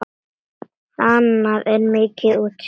Þaðan er mikið útsýni.